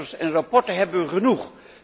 Cijfers en rapporten hebben wij genoeg.